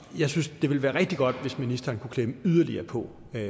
jeg synes det ville være rigtig godt hvis ministeren kunne klemme yderligere på